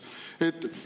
Teie aeg!